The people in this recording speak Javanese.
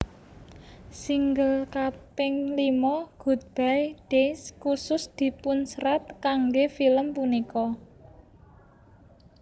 Single kaping limo Good bye Days kusus dipunsrat kangge film punika